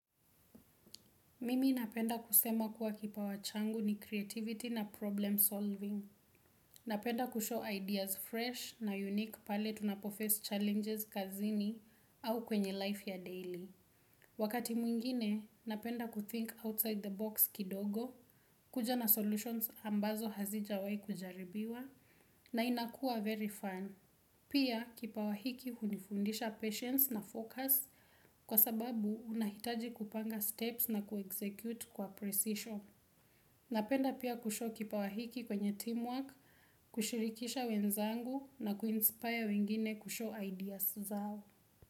Mimi napenda kusema kuwa kipawa changu ni creativity na problem solving. Napenda kushow ideas fresh na unique pale tunapo face challenges kazini au kwenye life ya daily. Wakati mwingine, napenda kuthink outside the box kidogo, kuja na solutions ambazo hazijawahi kujaribiwa, na inakua very fun. Pia kipawa hiki hunifundisha patience na focus kwa sababu unahitaji kupanga steps na kuexecute kwa precision. Napenda pia kushow kipawa hiki kwenye teamwork, kushirikisha wenzangu na kuinspire wengine kushow ideas zao.